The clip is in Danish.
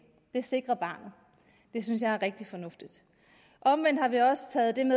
det sikrer barnet det synes jeg er rigtig fornuftigt omvendt har vi også taget den